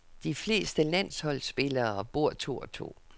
De fleste landsholdsspillere bor to og to.